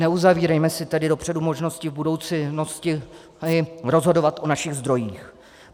Neuzavírejme se tedy dopředu možnosti v budoucnosti rozhodovat o našich zdrojích.